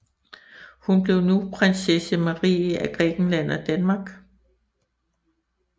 Hun blev nu Prinsesse Marie af Grækenland og Danmark